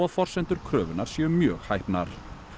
forsendur kröfunnar séu mjög hæpnar